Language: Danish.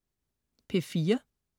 P4: